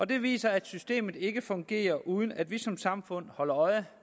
det viser at systemet ikke fungerer uden at vi som samfund holder øje